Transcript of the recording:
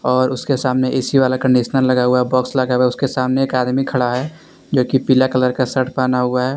और उसके सामने ए_सी वाला कंडीशनर लगा हुआ है बॉक्स लगा हुआ है उसके सामने एक आदमी खड़ा है जोकि पीला कलर का शर्ट पहना हुआ है।